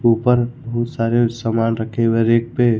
ऊपर बहुत सारे सामान रखे हुए हैं रैक पे।